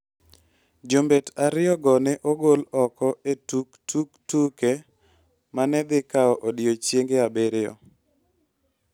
Jombet ariyogo ne ogol oko e tuk tuk tuke ma ne dhi kawo odiechienge abiriyo.